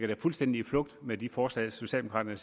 det fuldstændig med de forslag socialdemokraterne